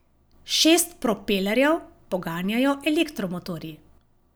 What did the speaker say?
Šest propelerjev poganjajo elektromotorji.